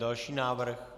Další návrh.